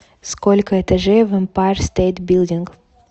сколько этажей в эмпайр стейт билдинг